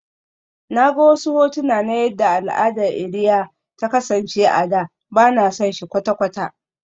Na ga wasu hotuna na yadda al'adar iria ta kasance a da, ba na son shi kwata-kwata